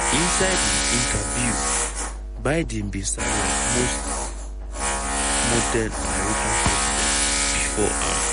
inside im interview biden bin sound like most modern american presidents bifor am.